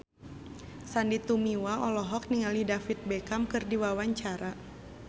Sandy Tumiwa olohok ningali David Beckham keur diwawancara